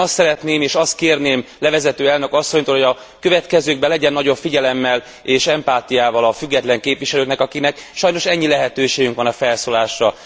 Én azt szeretném, és azt kérném levezető elnök asszonytól, hogy a következőkben legyen nagyobb figyelemmel és empátiával a független képviselőkkel, akiknek sajnos ennyi lehetőségünk van a felszólalásra.